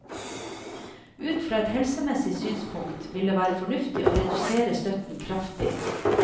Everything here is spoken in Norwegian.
Ut fra et helsemessig synspunkt ville det vært fornuftig å redusere støtten kraftig.